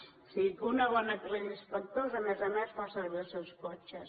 o sigui que una bona colla d’inspectors a més a més fa servir els seus cotxes